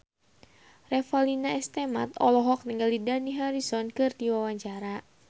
Revalina S. Temat olohok ningali Dani Harrison keur diwawancara